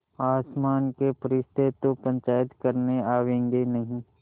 आसमान के फरिश्ते तो पंचायत करने आवेंगे नहीं